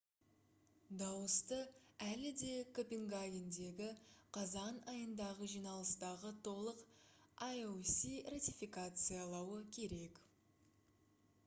дауысты әлі де копенгагендегі қазан айындағы жиналыстағы толық ioc ратификациялауы керек